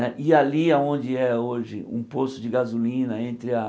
Né e ali aonde é hoje um posto de gasolina entre a...